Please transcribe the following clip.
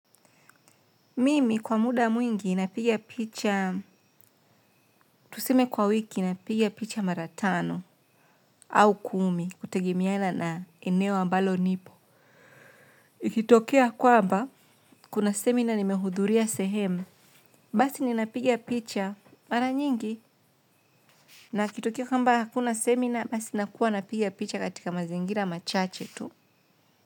Mimi kwa muda mwingi napigia picha, tuseme kwa wiki napigia picha mara tano au kumi kutegemena na eneo ambalo nipo. Ikitokea kwamba, kuna seminar nimehudhuria sehemu, basi ninapiga picha mara nyingi na ikitokea kamba hakuna seminar basi nakuwa napigia picha katika mazingira machache tu.